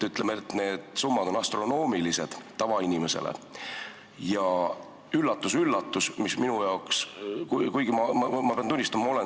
Need summad on tavainimesele astronoomilised.